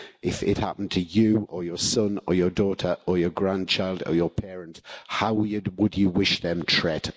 If it happened to you, or your son, or your daughter, or your grandchild, or your parent, how would you wish them tret?